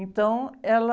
Então, ela...